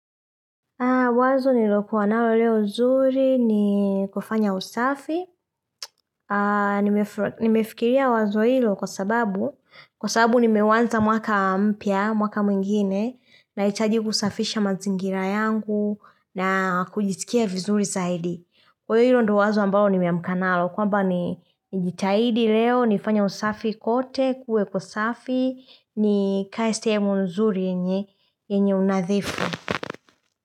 Wazo nililokuwa nalo leo zuri ni kufanya usafi. Nimefikiria wazo hilo kwa sababu, kwa sababu nimeuanza mwaka mpya, mwaka mwingine, naitaji kusafisha mazingira yangu na kujitikia vizuri zaidi. Kuwa hilo ndio wazo ambao nimeamka nalo kwamba nijitahidi leo nifanye usafi kote kuwe kusafi nikae sehemu nzuri yenye yenye unadhifu.